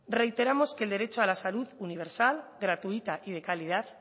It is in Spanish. reiteramos que el derecho a la salud universal gratuita y de calidad